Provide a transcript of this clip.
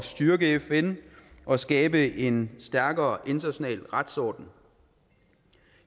styrke fn og skabe en stærkere international retsorden